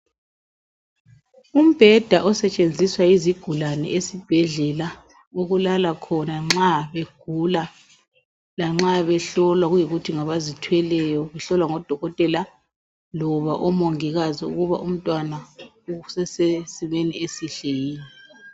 Umbheda osentshenziswa yizigulane esibhedlela ukulala khona nxa egula lanxa behlolwa kuyikuthi ngabazithweleyo. Behlolwa ngodokotela loba omongikazi ukuthi umntwana usesimeni esihle yini.